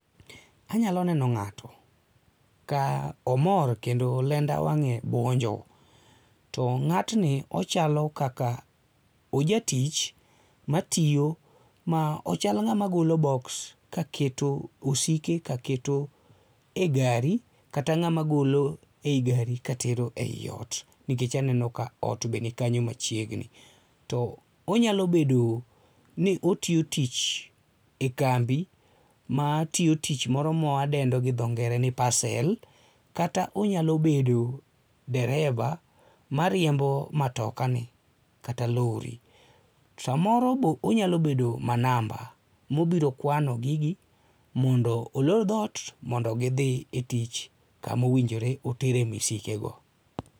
Anyalo neno ng'ato ka omor kendo lenda wang'e buonjo, to ng'atni ochalo kaka ojatich matiyo ma ochal ng'ama golo boks kaketo osike kaketo e gari kata ng'ama golo ei gari katero eiot nikech aneno ka ot be nikanyo machiegni. To onyalo bedo ni otiyo tich ekambi matiyo tich moro mawadendo gi dho ngere ni pasel kata onyalo bedo dereba mariembo matokani kata lori. Samoro be onyalo bedo manamba mobiro kawano gigi mondo olor dhoot mondo gidhi e tich kama owinjore otere misikego.